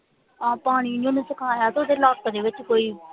ਹਾਂ ਪਾਣੀ ਓਹਨੇ ਚੁਕਾਇਆ ਤੇ ਓਹਦੇ ਲੱਕ ਦੇ ਵਿਚ ਕੋਈ